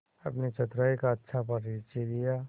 अपनी चतुराई का अच्छा परिचय दिया